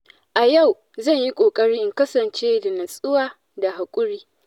A yau zan yi ƙoƙari in kasance da natsuwa da haƙuri.